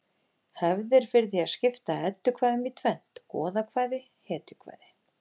Hefð er fyrir því að skipta eddukvæðum í tvennt: goðakvæði hetjukvæði